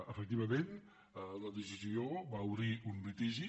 efectivament la decisió va obrir un litigi